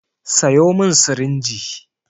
Sayo min sirinji!